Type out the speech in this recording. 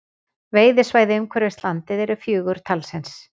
Veiðisvæðin umhverfis landið eru fjögur talsins